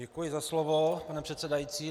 Děkuji za slovo, pane předsedající.